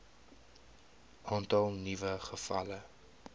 aantal nuwe gevalle